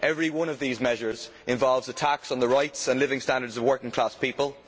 Every one of these measures involves attacks on the rights and living standards of working class people.